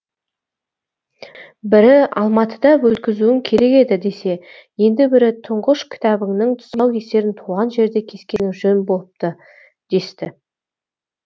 бірі алматыда өткізуің керек еді десе енді бірі тұңғыш кітабыңның тұсаукесерін туған жерде кескенің жөн болыпты десті